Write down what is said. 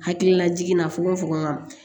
Hakilila jiginna fokofoko ŋa